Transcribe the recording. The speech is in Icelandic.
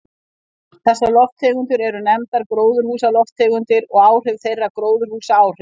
Þessar lofttegundir eru nefndar gróðurhúsalofttegundir og áhrif þeirra gróðurhúsaáhrif.